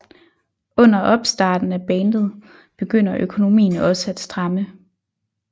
Under opstarten af bandet begynder økonomien også at stramme